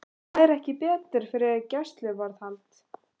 Fær ekki bætur fyrir gæsluvarðhald